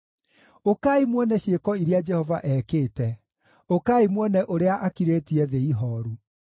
Ũkai muone ciĩko iria Jehova ekĩte, ũkai muone ũrĩa akirĩtie thĩ ihooru.